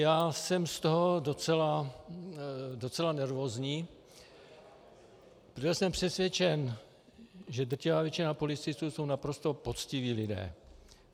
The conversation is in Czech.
Já jsem z toho docela nervózní, protože jsem přesvědčen, že drtivá většina policistů jsou naprosto poctiví lidé.